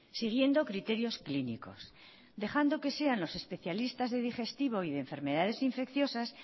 siguiendo criterios clínicos dejando que sean los especialistas de digestivo y de enfermedades infecciosas